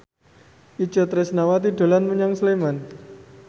Itje Tresnawati dolan menyang Sleman